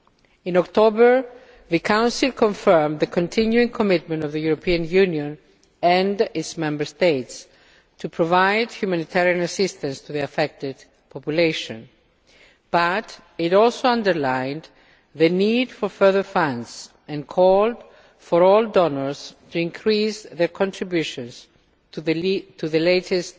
In October the Council confirmed the continuing commitment of the European Union and its Member States to provide humanitarian assistance to the affected population, but it also emphasised the need for further funds and called for all donors to increase their contributions to the latest